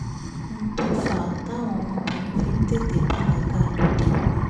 n tó fà á táwọn ọmọbìnrin fi ń tètè bàlágà lóde òní